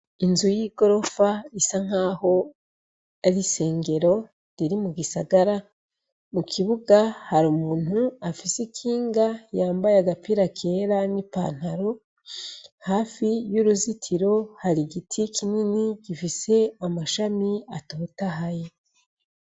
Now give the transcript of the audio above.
Inzu y'i gorofa isa nk'aho arisengero riri mu gisagara mu kibuga hari umuntu afise ikinga yambaye agapira kera n'ipantaro hafi y'uruzitiro hari igiti kinini gifise amashami atotahaye.